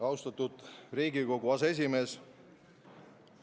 Austatud Riigikogu aseesimees!